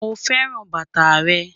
Mo fẹ́ran bátà rẹ́